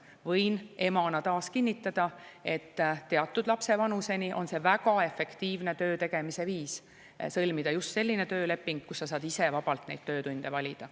Võin emana taas kinnitada, et teatud lapse vanuseni on see väga efektiivne töö tegemise viis sõlmida just selline tööleping, mille puhul saab ise vabalt neid töötunde valida.